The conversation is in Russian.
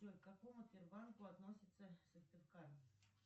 джой к какому сбербанку относится сыктывкар